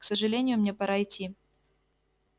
к сожалению мне пора идти